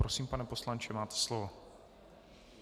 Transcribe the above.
Prosím, pane poslanče, máte slovo.